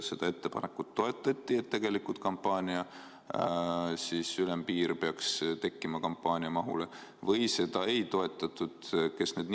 Kas seda ettepanekut toetati, et peaks tekkima ülempiir kampaania mahule, või seda ei toetatud?